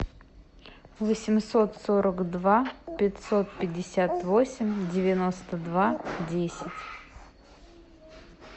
восемьсот сорок два пятьсот пятьдесят восемь девяносто два десять